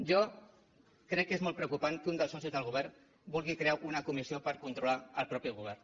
jo crec que és molt preocupant que un dels socis del govern vulgui crear una comissió per controlar el mateix govern